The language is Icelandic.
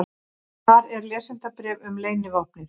Þar er lesendabréf um leynivopnið.